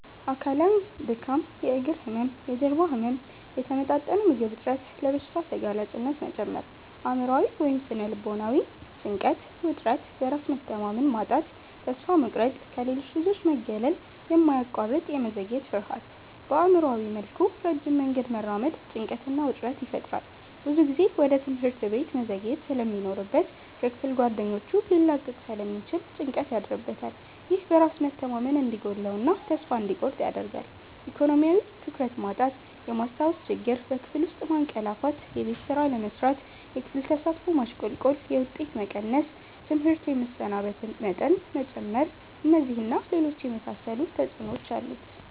አካላዊ:-ድካም፣ የእግር ህመም፣ የጀርባ ህመም፣ የተመጣጠነ ምግብ እጥረት፣ ለበሽታ ተጋላጭነት መጨመር። አእምሯዊ / ስነ-ልቦናዊ:-ጭንቀት፣ ውጥረት፣ በራስ መተማመን ማጣት፣ ተስፋ መቁረጥ፣ ከሌሎች ልጆች መገለል፣ የማያቋርጥ የመዘግየት ፍርሃት። በአእምሯዊ መልኩ ረጅም መንገድ መራመድ ጭንቀትና ውጥረት ይፈጥራል። ብዙ ጊዜ ወደ ትምህርት ቤት መዘግየት ስለሚኖርበት ከክፍል ጓደኞቹ ሊላቀቅ ስለሚችል ጭንቀት ያድርበታል። ይህ በራስ መተማመን እንዲጎድለው እና ተስፋ እንዲቆርጥ ያደርጋል። አካዳሚያዊ:-ትኩረት ማጣት፣ የማስታወስ ችግር፣ በክፍል ውስጥ ማንቀላፋትየቤት ስራ አለመስራት፣ የክፍል ተሳትፎ ማሽቆልቆል፣ የውጤት መቀነስ፣ ትምህርት የመሰናበት መጠን መጨመር። እነዚህን እና ሌሎች የመሳሰሉ ተጽዕኖዎች አሉት።